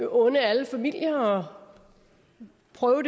unde alle familier